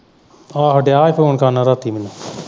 ਆਹੋ ਦਿਆਂ ਸੀ ਫੋਨ ਕਰਨ ਰਾਤੀਂ ਮੈਨੂੰ।